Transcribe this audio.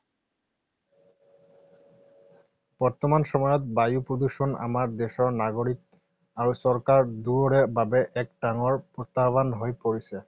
বৰ্তমান সময়ত বায়ু প্ৰদূষণ আমাৰ দেশৰ নাগৰিক আৰু চৰকাৰ দুয়োৰে বাবে এক ডাঙৰ প্ৰত্যাহ্বান হৈ পৰিছে।